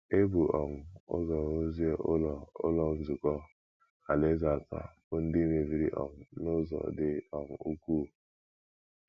E bu um ụzọ rụzie Ụlọ Ụlọ Nzukọ Alaeze atọ bụ́ ndị mebiri um n’ụzọ dị um ukwuu.